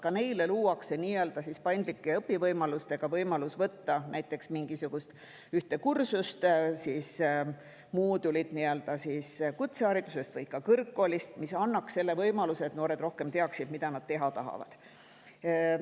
Ka neile luuakse nii-öelda paindlik õpivõimalus võtta näiteks mingisugust ühte kursust või moodulit kutsehariduses või kõrgkoolis, mis annaks selle võimaluse, et noored teaksid, mida nad teha tahavad.